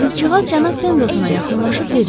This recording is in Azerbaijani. Qızcığaz cənab Pendletona yaxınlaşıb dedi: